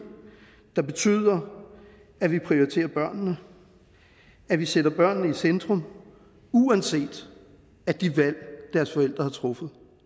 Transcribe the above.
der betyder at vi prioriterer børnene at vi sætter børnene i centrum uanset at det valg deres forældre har truffet